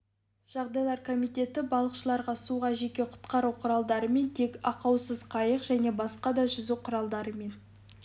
жағдайлар комитеті балықшыларға суға жеке құтқару құралдарымен тек ақаусыз қайық және басқа да жүзу құралдарымен